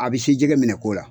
A bɛ se jɛgɛ minɛ cogola